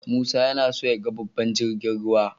Musa yana so yaga babban jirgin ruwa.